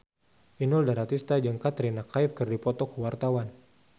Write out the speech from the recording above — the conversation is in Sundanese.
Inul Daratista jeung Katrina Kaif keur dipoto ku wartawan